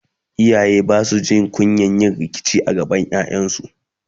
iyaye Basu Jin kunyan yin rikici gaban ƴaƴansu?